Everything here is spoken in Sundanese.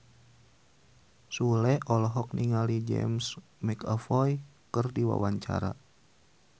Sule olohok ningali James McAvoy keur diwawancara